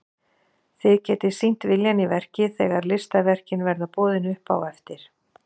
Þið getið sýnt viljann í verki þegar listaverkin verða boðin upp á eftir.